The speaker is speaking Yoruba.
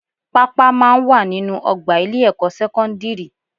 Pápá máa ń wà nínú ọgbà ilé-ẹ̀kọ́ sẹ́kọ́ndírì